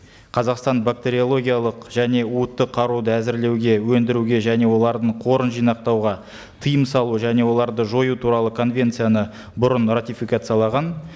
қазақстан бактериологиялық және уытты қаруды әзірлеуге өндіруге және олардың қорын жинақтуға тыйым салу және оларды жою туралы конвенцияны бұрын ратификациялаған